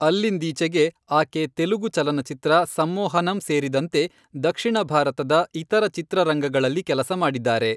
ಅಲ್ಲಿಂದೀಚೆಗೆ ಆಕೆ ತೆಲುಗು ಚಲನಚಿತ್ರ ಸಮ್ಮೋಹನಂ ಸೇರಿದಂತೆ ದಕ್ಷಿಣ ಭಾರತದ ಇತರ ಚಿತ್ರರಂಗಗಳಲ್ಲಿ ಕೆಲಸ ಮಾಡಿದ್ದಾರೆ.